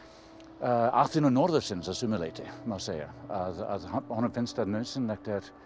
Aþenu norðursins að sumu leyti má segja honum finnst nauðsynlegt